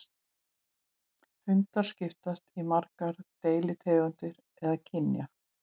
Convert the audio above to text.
Hundar skiptast í margar deilitegundir eða kyn.